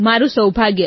મારું સૌભાગ્ય